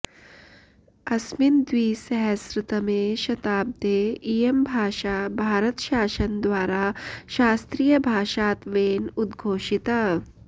अस्मिन् द्विसहस्रतमे शताब्दे इयं भाषा भारतशासनद्वारा शास्त्रीयभाषात्वेन उद्घोषिता